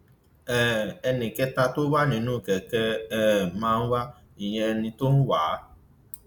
um ẹnì kẹta tó wà nínú kẹkẹ um marwa ìyẹn ẹni tó ń wá a